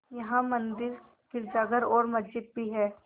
यहाँ मंदिर गिरजाघर और मस्जिद भी हैं